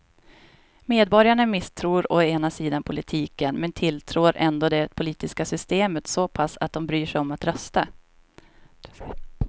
Medborgarna misstror å ena sidan politiken men tilltror ändå det politiska systemet så pass att de bryr sig om att rösta.